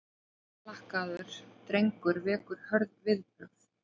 Naglalakkaður drengur vekur hörð viðbrögð